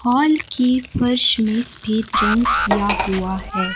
Hall की फर्श में सफेद रंग किया हुआ है।